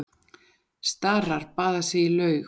Starar baða sig í laug.